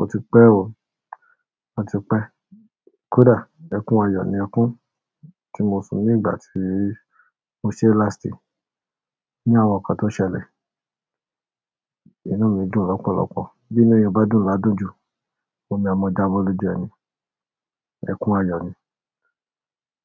O ti pẹ́ oo, ọ ti pẹ́. Kódà ẹkún ayọ̀ ni ọkún tí mo sun ní ìgbà tí mo ṣe láàsì ní àwọn nkan tó ṣẹlẹ̀. Inú mi dùn lọ́pọ̀lọ́pọ̀. Bí inú eeyan bá dùn ladúnjù, omi a mọ̀ jábọ́ lóju ẹni. Ẹkún ayọ̀ ni.